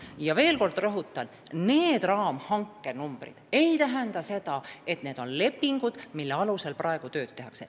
Ja veel kord rõhutan, need raamhanke numbrid ei tähenda seda, et on juba lepingud, mille alusel praegu tööd tehakse.